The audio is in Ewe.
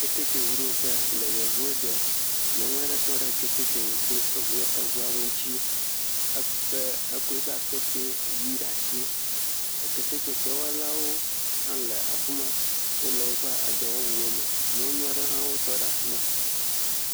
Keteke ŋuɖoƒe le yevuwo de, nyɔnu aɖe tɔ ɖe keteke eŋu eŋuawo ŋuti, ekpe ekɔ eƒe akpe ʋɛ̃ ɖe asi, keteke dɔwɔlawo hã le afi ma, wole woƒe edɔwɔwuwo me, nyɔnu aɖewo hã wotɔ ɖe afi ma.